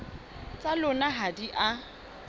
tsa lona ha di a